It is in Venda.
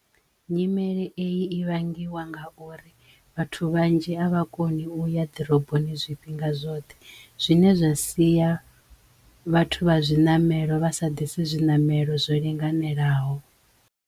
Nyimele eyi ivhangiwa nga uri vhathu vhanzhi a vha koni uya ḓiroboni zwifhinga zwoṱhe zwine zwa siya vhathu vha zwiṋamelo vha sa ḓise zwiṋamelo zwo linganelaho.